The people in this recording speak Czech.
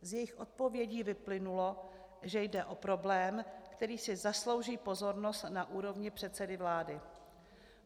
Z jejich odpovědí vyplynulo, že jde o problém, který si zaslouží pozornost na úrovni předsedy vlády.